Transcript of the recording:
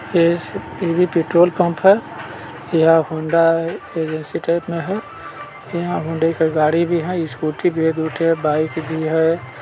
ये भी petrol pump है यहाँ होंडा एजेंसी टाइप में है यहाँ हुंडई का गाड़ी भी हैस्कूटी भी है दु ठे बाइक भी है।